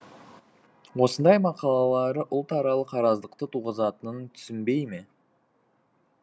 осындай мақалалары ұлтаралық араздықты туғызатынын түсінбейме